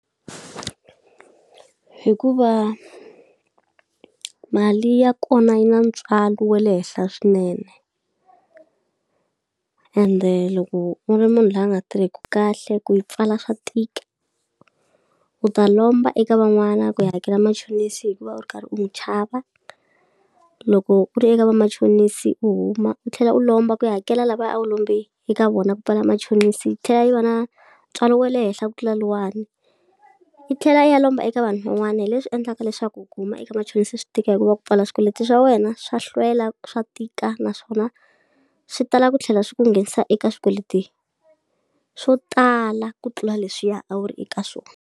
Hikuva mali ya kona yi na ntswalo wa le henhla swinene ende loko u ri munhu loyi a nga tirheki kahle ku yi pfala swa tika. U ta lomba eka van'wana ku yi hakela machonisi hikuva u ri karhi u n'wi chava, loko u ri eka vamachonisi u huma u tlhela u lomba ku ya hakela lavaya a wu lombe eka vona ku pfala machonisi, yi tlhela yi va na ntswalo wa le henhla ku tlula lowuyani, u tlhela u ya lomba eka vanhu van'wana. Hi leswi endlaka leswaku u kuma eka machonisa swi tika hikuva ku pfala swikweleti swa wena swa hlwela, swa tika naswona swi tala ku tlhela swi ku nghenisa eka swikweleti swo tala ku tlula leswiya a wu ri eka swona.